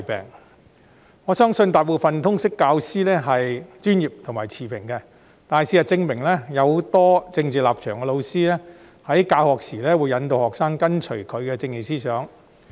雖然我相信大部分通識教師都是專業持平的，但事實證明，很多有政治立場的教師在教學時，引導學生跟隨他們的政治思想。